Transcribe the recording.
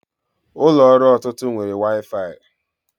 Ụlọ ọrụ ọtụtụ nwere waifai